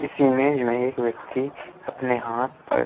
इस इमेज में एक व्यक्ति अपने हाथ पर --